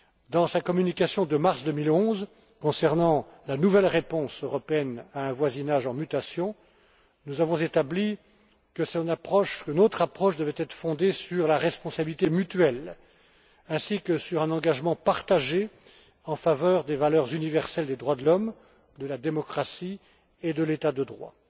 Dans sa communication de mars 2011 concernant la nouvelle réponse européenne à un voisinage en mutation, nous avons établi que notre approche devait être fondée sur la responsabilité mutuelle, ainsi que sur un engagement partagé en faveur des valeurs universelles des droits de l'homme, de la démocratie et de l'état de droit.